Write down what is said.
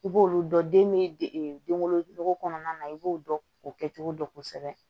I b'olu dɔn den bɛ denwolo kɔnɔna na i b'o dɔn o kɛcogo dɔn kosɛbɛ